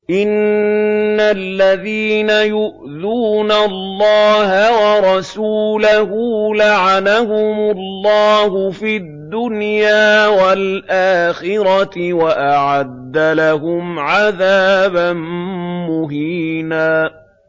إِنَّ الَّذِينَ يُؤْذُونَ اللَّهَ وَرَسُولَهُ لَعَنَهُمُ اللَّهُ فِي الدُّنْيَا وَالْآخِرَةِ وَأَعَدَّ لَهُمْ عَذَابًا مُّهِينًا